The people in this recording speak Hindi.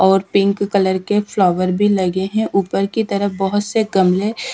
और पिंक कलर के फ्लावर भी लगे हैं ऊपर की तरफ़ बहुत से गमले --